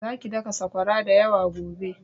Zaki daka saƙwara da yawa gobe!